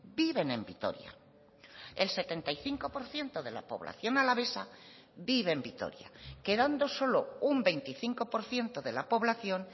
viven en vitoria el setenta y cinco por ciento de la población alavesa vive en vitoria quedando solo un veinticinco por ciento de la población